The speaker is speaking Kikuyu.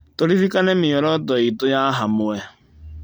Tũririkane mĩoroto itũ ya hamwe.